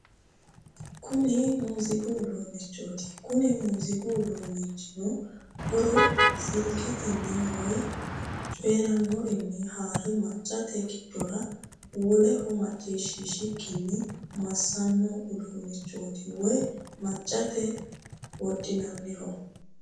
kuni muziiqu uduunneeti kuni muuziiqu uduunnino huuro silketenni woye coyyerannorinni haare maccate giddora woleho macciishshantukkinni massanno uduunnichooti woye maccate wodhinanniho